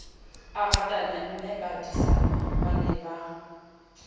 a ratane mmebadisana ba ne